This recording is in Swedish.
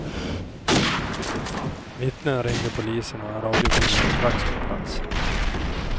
Vittnet ringde polisen och en radiobil var strax på plats.